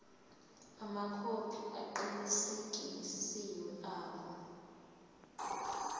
amakhophi aqinisekisiwe abo